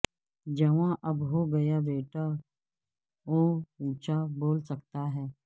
جواں اب ہوگیا بیٹا وہ اونچا بول سکتا ہے